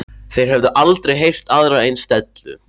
Þeir höfðu aldrei heyrt aðra eins dellu.